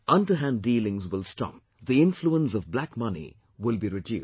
Underhand dealings will stop; the influence of black money will be reduced